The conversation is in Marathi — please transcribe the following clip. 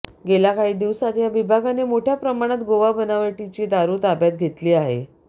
गेल्या काही दिवसांत या विभागाने मोठ्या प्रमाणात गोवा बनावटीची दारू ताब्यात घेतली आहे